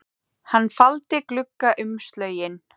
Hann faldi gluggaumslögin